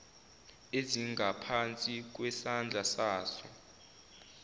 ezingaphansi kwesandla saso